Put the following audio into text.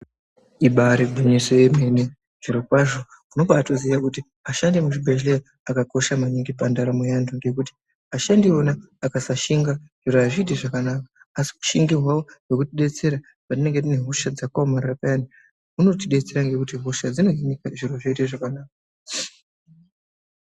Ibarigwinyiso yemene zvirokwazvo unobatoziye kuti ashandi emuzvibhedhleya akakosha maningi pandaramo yevantu. Ngekuti ashandi ivona akasashinga zviro hazviiti zvakanaka asi ushingi hwavo hwekutibetsera patinenge tiine hosha dzakaomarara payani. Unotobetsera hosha dzinohinika zviro zvoita zvakanaka.